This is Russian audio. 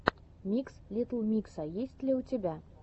микс литтл микса есть ли у тебя